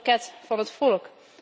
Een pakket van het volk.